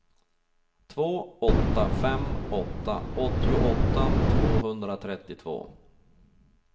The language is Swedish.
två åtta fem åtta åttioåtta tvåhundratrettiotvå